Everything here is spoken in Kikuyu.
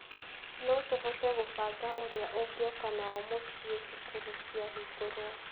No tũhote kũbanga ũrĩa ũngĩoka nao mũciĩ cukuru cĩahingwo.